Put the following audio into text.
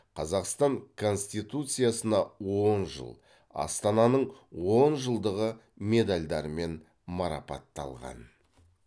қазақстан конституциясына он жыл астананың он жылдығы медальдарымен марапатталған